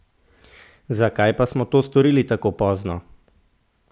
Zakaj pa smo to storili tako pozno?